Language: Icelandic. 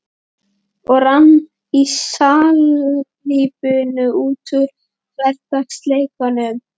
Og rann í salíbunu út úr hversdagsleikanum.